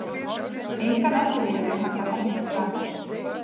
Engan ellilífeyri handa henni framar.